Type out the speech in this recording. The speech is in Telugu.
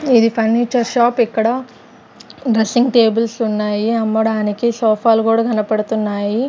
ఇది ఫర్నిచర్ షాప్ ఇక్కడ డ్రెస్సింగ్ టేబుల్స్ ఉన్నాయి అమ్మడానికి సోఫాలు కూడా కనపడుతున్నాయి.